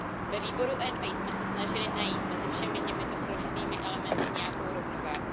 Ve výboru ENVI jsme se snažili najít mezi všemi těmito složitými elementy nějakou rovnováhu.